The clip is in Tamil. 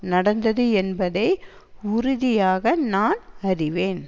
நடந்தது என்பதை உறுதியாக நான் அறிவேன்